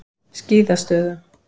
Skíðastöðum